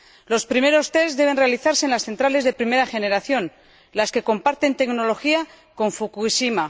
Los primeros deben realizarse en las centrales de primera generación, las que comparten tecnología con Fukushima.